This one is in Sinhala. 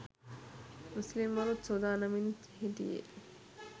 මුස්ලිම්වරුත් සූදානමින් හිටියේ